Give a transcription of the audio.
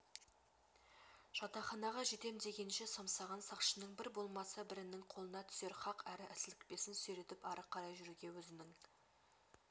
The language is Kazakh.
жатақханаға жетем дегенше самсаған сақшының бір болмаса бірінің қолына түсер хақ әрі сілікпесін сүйретіп ары қарай жүруге өзінің